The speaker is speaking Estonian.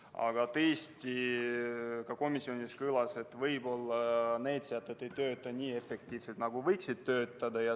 Aga tõesti, ka komisjonis kõlas, et võib-olla need sätted ei tööta nii efektiivselt, nagu võiksid töötada.